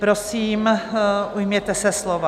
Prosím, ujměte se slova.